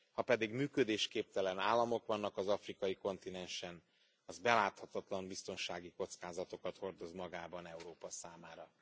Ha pedig működésképtelen államok vannak az afrikai kontinensen, az beláthatatlan biztonsági kockázatokat hordoz magában Európa számára.